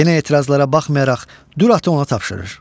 Yenə etirazlara baxmayaraq Düratı ona tapşırır.